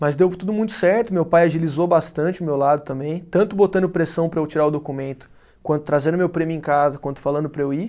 Mas deu tudo muito certo, meu pai agilizou bastante o meu lado também, tanto botando pressão para eu tirar o documento, quanto trazendo meu prêmio em casa, quanto falando para eu ir.